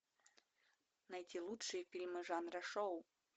найти лучшие фильмы жанра шоу